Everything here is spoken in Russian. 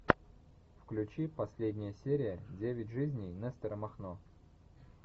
включи последняя серия девять жизней нестора махно